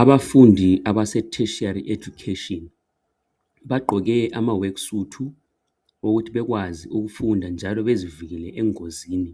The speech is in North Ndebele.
Abafundi abase tertiary education bagqoke ama work suit ukuthi bekwazi ukufunda njalo bezivikele engozini